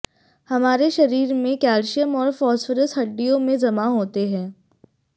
हमारे शरीर में कैल्शियम और फाॅस्फोरस हडि्डयों में जमा होते हैं